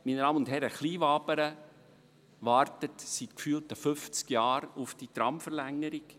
Meine Damen und Herren, Kleinwabern wartet seit gefühlten 50 Jahren auf die Tramverlängerung!